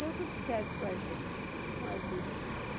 Deu tudo certo com a gente, com a vida.